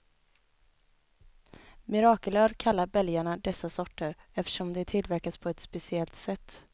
Mirakelöl kallar belgarna dessa sorter, eftersom de tillverkas på ett speciellt sätt.